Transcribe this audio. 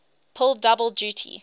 pull double duty